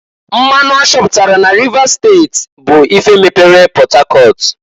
Mmanụ a chọpụtara n'Rivers steti bụ ife mepere Port Harcourt.